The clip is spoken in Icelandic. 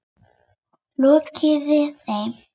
Lokaði þeim.